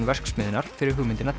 verksmiðjunnar fyrir hugmyndina